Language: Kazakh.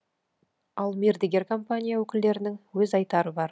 ал мердігер компания өкілдерінің өз айтары бар